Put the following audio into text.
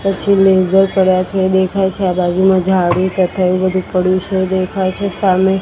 પછી લેસર પડ્યા છે એ દેખાઈ છે આ બાજુમાં ઝાડુ તથા એવુ બધુ પડ્યુ છે એ દેખાઈ છે સામે--